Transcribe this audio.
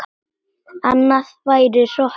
Annað væri hroki.